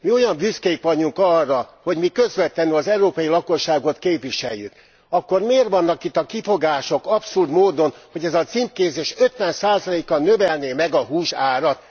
Mi olyan büszkék vagyunk arra, hogy mi közvetlenül az európai lakosságot képviseljük, akkor miért vannak itt a kifogások abszurd módon, hogy ez a címkézés 50 kal növelné meg a hús árat?